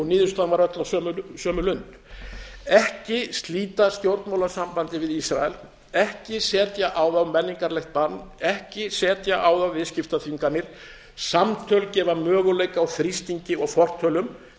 á sömu lund ekki slíta stjórnmálasambandi við ísrael ekki setja á þá menningarlegt bann ekki setja á þá viðskiptaþvinganir samtöl gefa möguleika á þrýstingi og fortölum